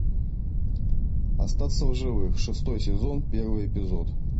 остаться в живых шестой сезон первый эпизод